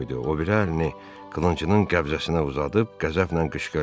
O biri əlini qılıncının qəbzəsinə uzadıb qəzəblə qışqırdı.